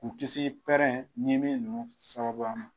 K'u kisi pɛrɛn ɲimi ninnu sababuya ma.